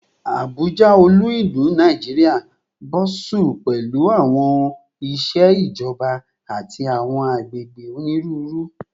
Abuja, olu-ilu Naijiria, bustles pẹlu awọn iṣẹ ijọba ati awọn agbegbe oniruuru